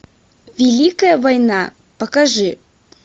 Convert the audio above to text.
великая война покажи